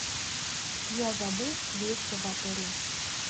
я забыл вещи в отеле